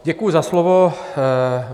Děkuju za slovo.